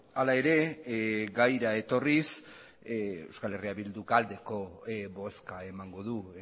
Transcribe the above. hala ere gaira etorriz euskal herria bilduk aldeko bozka emango du